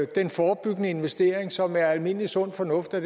den forebyggende investering som det er almindelig sund fornuft at